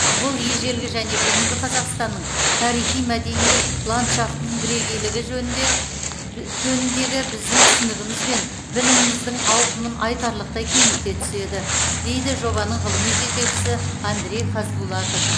бұл ежелгі және бүгінгі қазақстанның тарихи мәдени ландшафтының бірегейлігі жөніндегі біздің түсінігіміз бен біліміміздің ауқымын айтарлықтай кеңейте түседі дейді жобаның ғылыми жетекшісі андрей хазбулатов